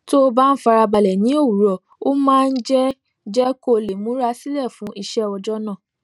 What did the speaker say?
tó bá ń fara balè ní òwúrò ó máa ń jé jé kó lè múra sílè fún iṣé ọjó náà